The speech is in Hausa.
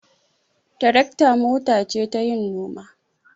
Tarakta mota ce tayin noma.